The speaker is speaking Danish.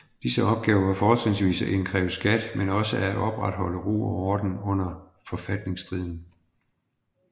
Disse opgaver var fortrinsvis at indkræve skat men også at opretholde ro og orden under forfatningsstriden